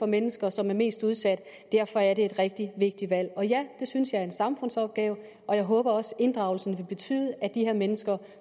mennesker som er mest udsatte derfor er det et rigtig vigtigt valg og ja det synes jeg er en samfundsopgave og jeg håber også at inddragelsen vil betyde at de her mennesker